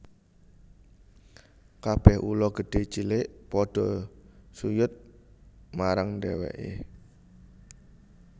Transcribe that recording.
Kabèh ula gedhé cilik padha suyud marang dhèwèké